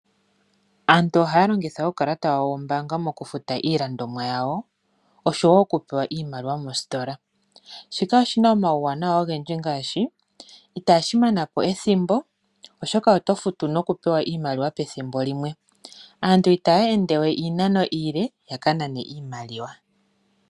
Aantu ohaya longitha uukalata wawo wombaanga mokufuta iilandomwa yawo osho wo okupewa iimaliwa mositola. Shika oshi na omauwanawa ogendji ngaashi itashi mana po ethimbo, oshoka oto futu nokupewa iimaliwa pethimbo limwe, aantu itaya endewe iinano iile yaka nane iimaliwa.